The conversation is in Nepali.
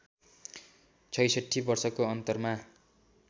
६६ वर्षको अन्तरमा